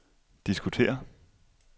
diskutere